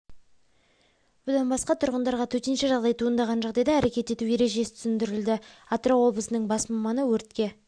бұдан басқа тұрғындарға төтенше жағдай туындаған жағдайда әрекет ету ережесі түсіндірілді атырау облысының бас маманы өртке